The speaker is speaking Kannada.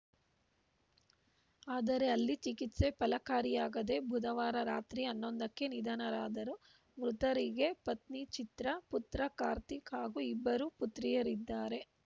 ಆದರೆ ಅಲ್ಲಿ ಚಿಕಿತ್ಸೆ ಫಲಕಾರಿಯಾಗದೆ ಬುಧವಾರ ರಾತ್ರಿ ಹನ್ನೊಂದಕ್ಕೆ ನಿಧನರಾದರು ಮೃತರಿಗೆ ಪತ್ನಿ ಚಿತ್ರ ಪುತ್ರ ಕಾರ್ತಿಕ್‌ ಹಾಗೂ ಇಬ್ಬರು ಪುತ್ರಿಯರಿದ್ದಾರೆ